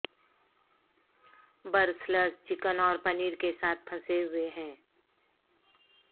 Brussels chicken اور پنیر کے ساتھ پھنسے ہوئے ہیں